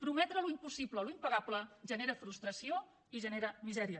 prometre l’impossible l’impagable genera frustració i genera misèria